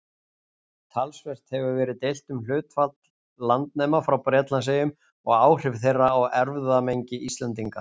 Talsvert hefur verið deilt um hlutfall landnema frá Bretlandseyjum og áhrif þeirra á erfðamengi Íslendinga.